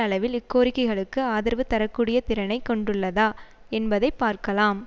அளவில் இக்கோரிக்கைகளுக்கு ஆதரவு தர கூடிய திறனை கொண்டுள்ளதா என்பதை பார்க்கலாம்